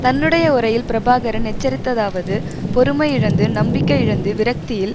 தன்னுடைய உரையில் பிரபாகரன் எச்சரித்ததாவது பொறுமையிழந்து நம்பிக்கையிழந்து விரக்தியில்